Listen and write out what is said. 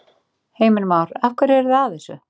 Heimir Már: Af hverju eru þið að þessu?